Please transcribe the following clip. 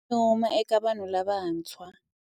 Wa nyuma eka vanhu lavantshwa.